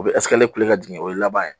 min bɛna jigin o y'a laban ye.